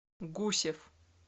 гусев